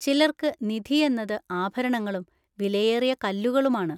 ചിലർക്ക് നിധി എന്നത് ആഭരണങ്ങളും വിലയേറിയ കല്ലുകളുമാണ്.